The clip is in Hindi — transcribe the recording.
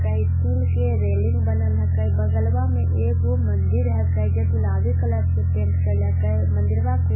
का स्‍टील के रैलिंग बन लाहा है काय बगल वा एक वो मंदिर है काय जो गुलाबी कलर से पेंट करिला है काय मंदिरवा के ऊपर में ला--